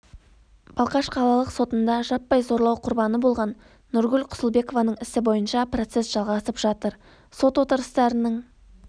балқаш қалалық сотында жаппай зорлау құрбаны болған нұргүл құсылбекованың ісі бойынша процесс жалғасып жатыр сот отырыстарының